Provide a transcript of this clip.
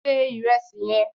Se ìrẹsì yẹn!